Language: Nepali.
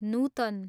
नुतन